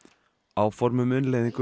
áform um innleiðingu